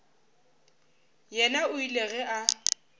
yena o ile ge a